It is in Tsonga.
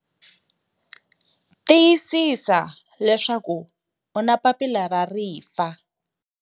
Tiyisisa leswaku u na papila ra rifa!